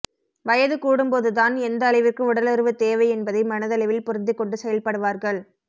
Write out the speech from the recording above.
வயது கூடும் போது தான் எந்த அளவிற்கு உடலுறவு தேவை என்பதை மனதளவில் புரிந்துக்கொண்டு செயல்படுவார்கள்